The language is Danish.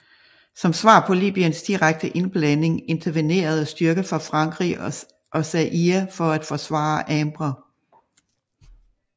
Som svar på Libyens direkte indblanding intervenerede styrker fra Frankrig og Zaire for at forsvare Habré